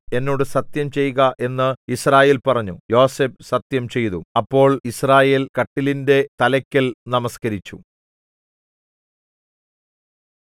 എന്നോട് സത്യം ചെയ്ക എന്ന് യിസ്രായേൽ പറഞ്ഞു യോസേഫ് സത്യംചെയ്തു അപ്പോൾ യിസ്രായേൽ കട്ടിലിന്റെ തലയ്ക്കൽ നമസ്കരിച്ചു